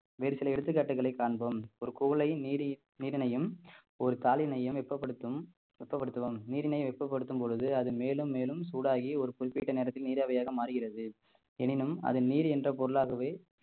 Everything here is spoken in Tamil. வேறு சில எடுத்துக்காட்டுகளை காண்போம் ஒரு குவளையின் நீர்~ நீரினையும் ஒரு தாளினையும் வெப்பப்படுத்தும் வெப்பப்படுத்துவோம் நீரினையும் வெப்பப்படுத்தும் பொழுது அது மேலும் மேலும் சூடாகி ஒரு குறிப்பிட்ட நேரத்தில் நீர் ஆவியாக மாறுகிறது எனினும் அதில் நீர் என்ற பொருளாகவே